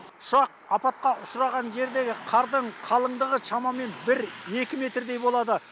ұшақ апатқа ұшыраған жердегі қардың қалыңдығы шамамен бір екі метрдей болады